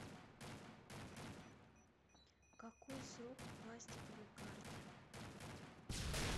какой срок у пластиковой карты